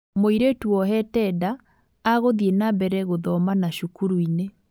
Mũirĩtu wohete nda agũthiĩ na mbere gũthoma na cukuru-inĩ